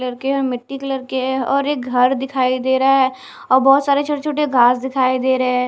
Colour के है मिट्टी कलर के है और एक घर दिखाई दे रहा है और बहोत सारे छोटे छोटे घास दिखाई दे रहे है।